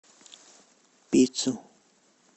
пиццу